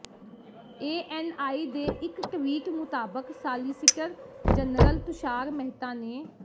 ANI ਨੇ ਇਕ tweet ਮੁਤਾਬਕ ਸਾਲਿਸਿਟਰ ਜਨਰਲ ਤੁਸ਼ਾਰ ਮਹਿਤਾ ਨੇ